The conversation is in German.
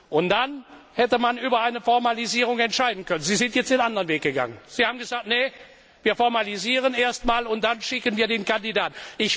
Und dann hätte man über eine Formalisierung entscheiden können. Sie sind jetzt den anderen Weg gegangen. Sie haben gesagt Nein, wir fassen erst den Formalisierungsbeschluss und dann schicken wir den Kandidaten.